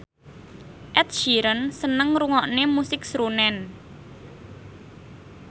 Ed Sheeran seneng ngrungokne musik srunen